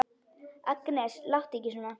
Agnes, láttu ekki svona!